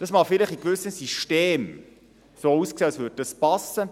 Es mag vielleicht in gewissen Systemen so aussehen, als würde es passen.